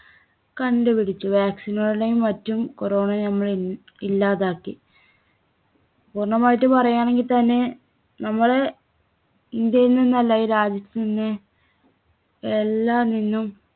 കണ്ടുപിടിച്ചു. vaccine കളെയും മറ്റും corona യെ നമ്മള് ഇ~ഇല്ലാതാക്കി. പൂർണ്ണമായിട്ട് പറയാണെങ്കിൽത്തന്നെ നമ്മള് ഇന്ത്യയിൽ നിന്നല്ല ഈ രാജ്യത്ത് നിന്ന് എല്ലാ